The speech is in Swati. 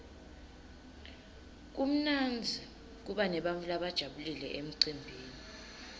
kumnandzi kuba nebantfu labajabulile emcimbini